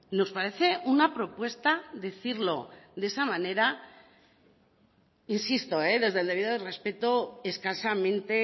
nos parece una propuesta decirlo de esa manera insisto desde el debido respeto escasamente